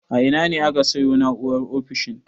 A ina ne aka sayo na'urar ofishin?